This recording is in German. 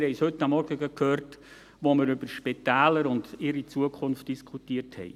Wir haben sie heute Morgen gehört, als wir über Spitäler und ihre Zukunft diskutierten.